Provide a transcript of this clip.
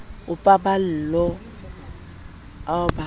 a paballo ao ba a